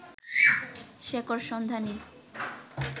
শেকড়সন্ধানী